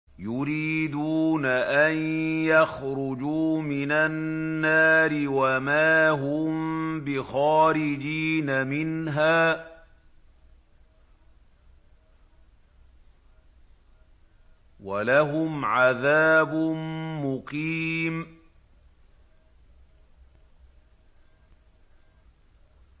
يُرِيدُونَ أَن يَخْرُجُوا مِنَ النَّارِ وَمَا هُم بِخَارِجِينَ مِنْهَا ۖ وَلَهُمْ عَذَابٌ مُّقِيمٌ